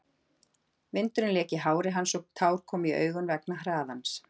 Vindurinn lék í hári hans og tár komu í augun vegna hraðans.